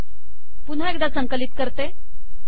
पुन्हा एकदा संकलित करते